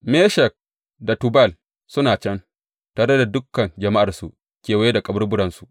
Meshek da Tubal suna can, tare da dukan jama’arsu kewaye da kaburburansu.